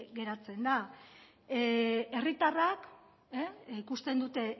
geratzen da herritarrak ikusten dute